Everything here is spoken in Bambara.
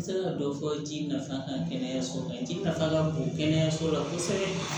N sera ka dɔ fɔ ji nafa kan kɛnɛyaso kan ji nafa ka bon kɛnɛyaso la kosɛbɛ